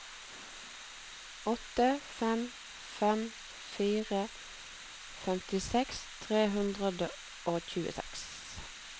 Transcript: åtte fem fem fire femtiseks tre hundre og tjueseks